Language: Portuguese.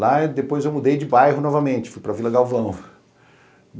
Lá depois eu mudei de bairro novamente, fui para Vila Galvão.